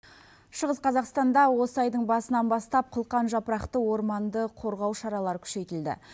шығыс қазақстанда осы айдың басынан бастап қылқан жапырақты орманды қорғау шаралары күшейтілді